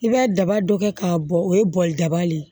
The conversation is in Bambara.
I b'a daba dɔ kɛ k'a bɔ o ye bɔgɔ daba de ye